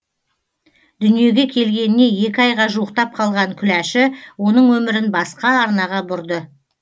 дүниеге келгеніне екі айға жуықтап қалған күләші оның өмірін басқа арнаға бұрды